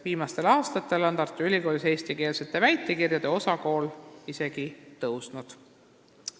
Viimastel aastatel on Tartu Ülikoolis eestikeelsete väitekirjade osakaal isegi suurenenud.